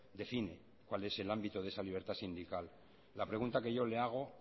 define cuál es el ámbito de esa libertad sindical la pregunta que yo le hago